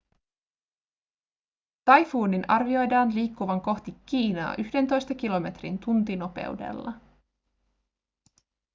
taifuunin arvioidaan liikkuvan kohti kiinaa yhdentoista kilometrin tuntinopeudella